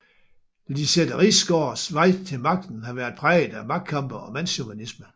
Lizette Risgaards vej til magten har været præget af magtkampe og mandschauvinisme